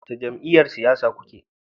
Wace jam'iyyar siyasa kuke?